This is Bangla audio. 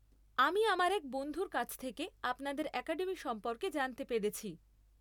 আমি আমার এক বন্ধুর কাছ থেকে আপনাদের অ্যাকাডেমি সম্পর্কে জানতে পেরেছি।